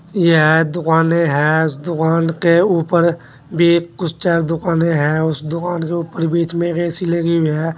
यह दुकानें है इस दुकान के ऊपर भी कुछ चार दुकानें हैं उस दुकान के ऊपर बीच मे एक ए_सी लगी हुई है।